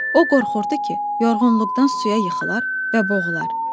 O qorxurdu ki, yorğunluqdan suya yıxılar və boğular.